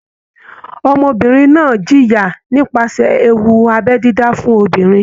Ọmọbìnrin náà ń jẹ̀yà nípasẹ̀ ewu abẹ́ dídá fún obìnrin.